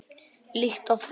Líkt og fram